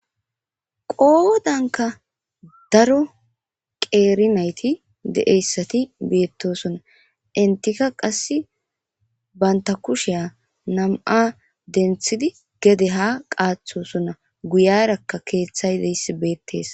Qodanka daro qeri nayti de'iyaysati betosona entika qase banta kushiya nam'ati dentidi gede ha qatosona guyaraka kethay diyaysi betes.